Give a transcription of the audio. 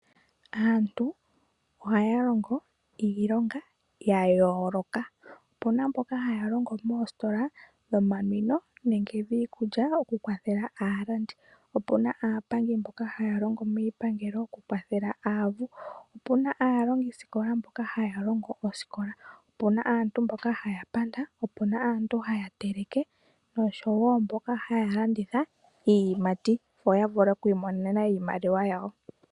Aantu ohaya longo iilonga ya yooloka. Opu na mboka haya longo moositola dhomanwino nenge dhiikulya okukwathela aalandi. Opu na aapangi mboka haya longo miipangelo okukwathela aavu, opu na aalongisikola mboka haya longo osikola, opu na aantu moka haya panda, opu na aantu haya teleke nosho wo mboka haya landitha iiyimati, opo ya vule oku imonene iimaliwa yawo.